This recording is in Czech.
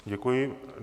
Děkuji.